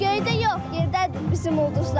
Göydə yox, yerdədir bizim ulduzlar.